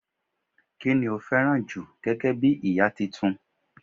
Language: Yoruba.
ki ni o fẹràn ju gẹgẹ bí ìta Titun